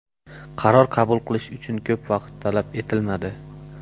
Qaror qabul qilish uchun ko‘p vaqt talab etilmadi”.